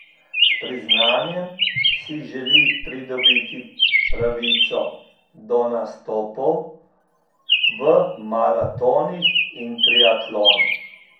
S priznanjem si želi pridobiti pravico do nastopov v maratonih in triatlonu.